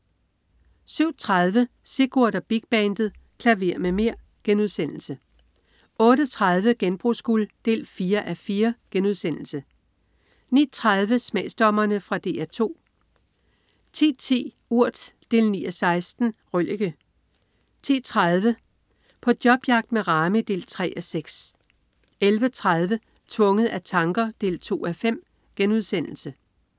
07.30 Sigurd og Big Bandet. Klaver med mer!* 08.30 Genbrugsguld 4:4* 09.30 Smagsdommerne. Fra DR 2 10.10 Urt 9:16. Røllike 10.30 På jobjagt med Rami 3:6 11.30 Tvunget af tanker 2:5*